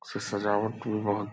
स सजावट भी बहुत --